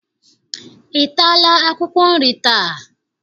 Ị taala akwụkwọ nri taa?